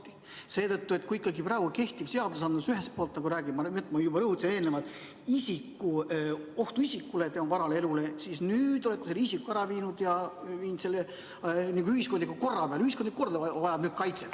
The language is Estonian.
Seda seetõttu, et kui praegu kehtiv seadusandlus ühelt poolt räägib, nagu ma juba eelnevalt rõhutasin, ohust isikule, tema varale ja elule, siis nüüd olete te selle isiku ära viinud ja toonud asemele ühiskondliku korra, nii et ühiskondlik kord vajab nüüd nagu kaitset.